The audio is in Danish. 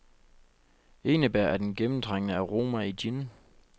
Enebær er den gennemtrængende aroma i gin.